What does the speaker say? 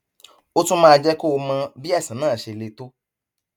ó tún máa jẹ kó o mọ bí àìsàn náà ṣe le tó